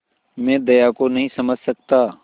मैं दया को नहीं समझ सकता